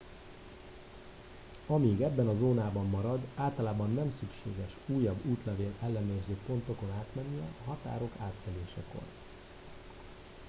amíg ebben a zónában marad általában nem szükséges újabb útlevél ellenőrző pontokon átmennie a határok átkelésekor